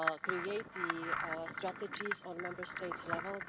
to create the strategies on a Member States level.